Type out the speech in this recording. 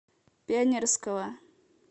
пионерского